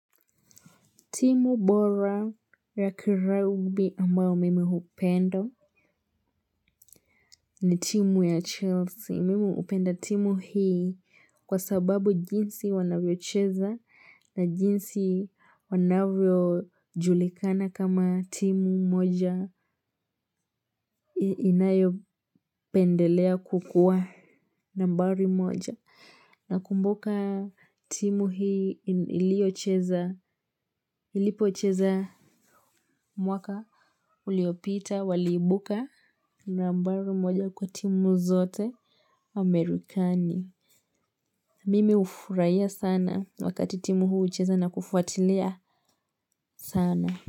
Timu bora ya kiraugbi ambayo mimi hupendo ni timu ya Chelsea, mimi hupenda timu hii kwa sababu jinsi wanavyo cheza na jinsi wanavyo julikana kama timu moja inayo pendelea kukua nambari moja. Na kumbuka timu hii iliyocheza ilipocheza mwaka uliopita waliibuka nambari moja kwa timu zote amerikani mimi hufurahia sana wakati timu huu hucheza na kufuatilia sana.